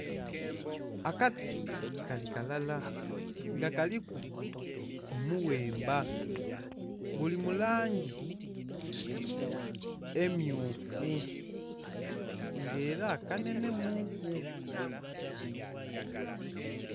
Akati kali kalala nga kaliku omuwemba guli mu langi emmyufu nga ela kanhenhemuuku.